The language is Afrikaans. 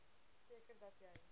seker dat jy